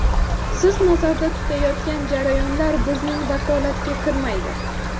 Siz nazarda tutayotgan jarayonlar bizning vakolatga kirmaydi.